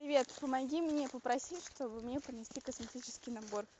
привет помоги мне попроси чтобы мне принесли косметический набор